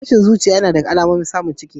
Tashin zuciya yana daga alamomin samun ciki.